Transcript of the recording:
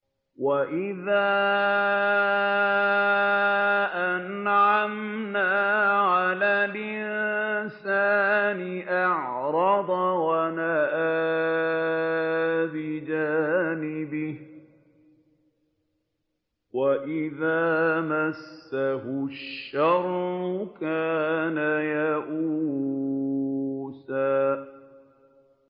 وَإِذَا أَنْعَمْنَا عَلَى الْإِنسَانِ أَعْرَضَ وَنَأَىٰ بِجَانِبِهِ ۖ وَإِذَا مَسَّهُ الشَّرُّ كَانَ يَئُوسًا